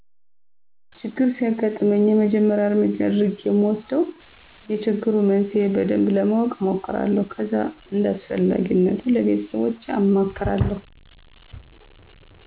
ችግር ሲያግጥመኝ የመጀመሪያ እረምጃ የአድረጌ እምወስደው የችግሩን መንስሄ በደንብ ለማወቅ እሞክራለሁ ከዛ እንዳስፈላጊነቱ ለቤተሰቦቸ አማክራለሁ።